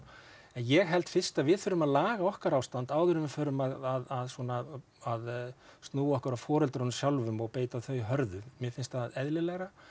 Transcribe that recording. en ég held fyrst að við þurfum að laga okkar ástand áður en við förum að svona snúa okkur að foreldrunum sjálfum og beita þau hörðu mér finnst það eðlilegra